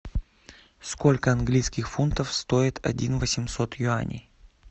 сколько английских фунтов стоит один восемьсот юаней